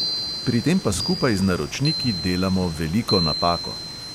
Pri tem pa skupaj z naročniki delamo veliko napako.